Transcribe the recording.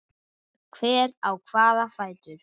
Hver á hvaða fætur?